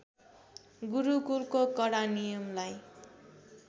गुरुकुलको कडा नियमलाई